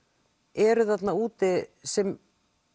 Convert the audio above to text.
eru þarna úti sem